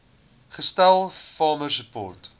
gestel farmer support